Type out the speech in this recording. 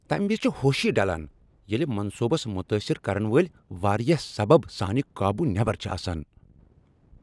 تمہ وزِ چھِ ہوشی ڈلان ییٚلہِ منصوبس متٲثر کرن وٲلۍ واریاہ سبب سانہ قابو نیبر چھِ آسان۔